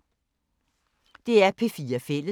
DR P4 Fælles